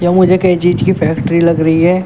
ये मुझे कई चीज की फैक्ट्री लग रही है।